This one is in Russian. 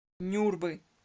нюрбы